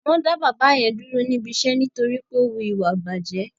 Wọ́n dá bàbá yẹn dúró níbi iṣẹ́ nítorí wí pé ó wu ìwà ìbàjẹ́